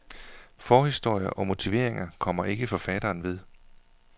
Forhistorie og motiveringer kommer ikke forfatteren ved.